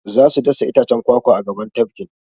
Za su dasa itacen kwakwa a gaban tafkin.